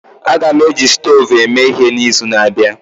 Aga m eji stovu eme ihe n'izu na-abịa